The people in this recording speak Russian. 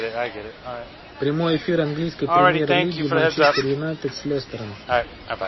прямой эфир английской премьер лиги манчестер юнайтед с лестером